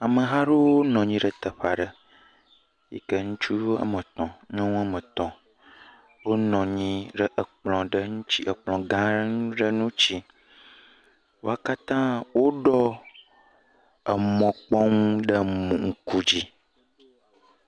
Ameha aɖewo nɔ anyi ɖe teƒe aɖe yi ke ŋutsu wɔme etɔ̃, nyɔnu wɔme etɔ̃ wonɔ anyi ɖe ekplɔ ɖe ŋuti ekplɔ gã aɖe ŋuti. Wo katã woɖɔ emɔ kpɔnu ɖe mo ŋkudzi.